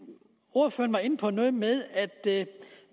ordføreren var inde på noget med at